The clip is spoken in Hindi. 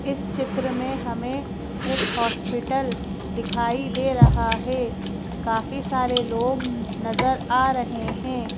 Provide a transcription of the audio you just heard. इस चित्र में हमें एक हॉस्पिटल दिखाई दे रहा है काफी सारे लोग नजर आ रहे हैं।